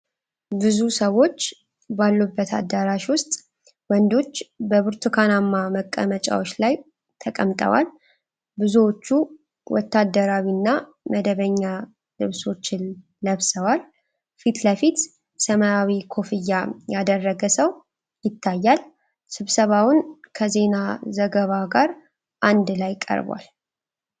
ብዙ ሰዎች ባሉበት አዳራሽ ውስጥ ወንዶች በብርቱካናማ መቀመጫዎች ላይ ተቀምጠዋል። ብዙዎቹ ወታደራዊ እና መደበኛ ልብሶችን ለብሰዋል። ፊት ለፊት ሰማያዊ ኮፍያ ያደረገ ሰው ይታያል፡፡ ስብሰባውን ከዜና ዘገባ ጋር አንድ ላይ ቀርቧል።